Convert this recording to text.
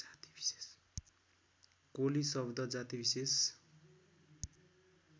कोली शब्द जातिविशेष